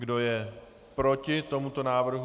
Kdo je proti tomuto návrhu?